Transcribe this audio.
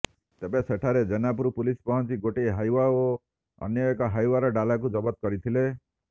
ତେବେ ସେଠାରେ ଜେନାପୁର ପୁଲିସ ପହଞ୍ଚି ଗୋଟିଏ ହାଇୱା ଓ ଅନ୍ୟ ଏକ ହାଇୱାର ଡ଼ାଲାକୁ ଜବତ କରିଥିଲେ